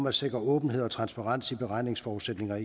at sikre åbenhed og transparens i beregningsforudsætninger